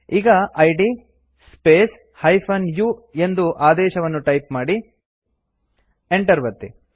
ಈಗ ಇದ್ space -u ಎಂದು ಆದೇಶವನ್ನು ಟೈಪ್ ಮಾಡಿ enter ಒತ್ತಿ